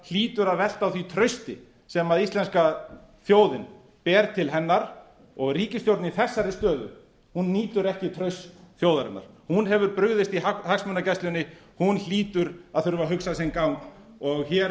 hlýtur að velta á því trausti sem íslenska þjóðin ber til hennar og ríkisstjórn í þessari stöðu nýtur ekki trausts þjóðarinnar hún hefur brugðist í hagsmunagæslunni hún hlýtur að þurfa að hugsa sinn gang og hér